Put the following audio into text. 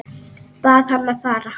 Bað hann að fara.